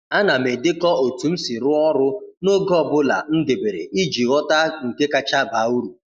A na m edekọ otu m si rụọ ọrụ n’oge ọ bụla m debere iji ghọta nke kacha baa uru.